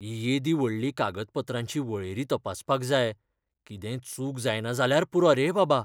ही येदी व्हडली कागदपत्रांची वळेरी तपासपाक जाय, कितेंय चूक जायना जाल्यार पुरो रे बाबा!